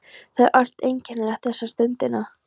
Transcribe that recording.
Það er allt einkennilegt þessa stundina.